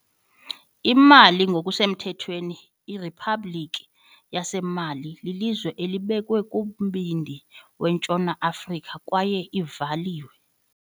IMali, ngokusemthethweni iRiphabhlikhi yaseMali, lilizwe elibekwe kumbindi weNtshona Afrika kwaye ivaliwe.